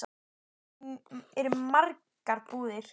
Þar eru margar búðir.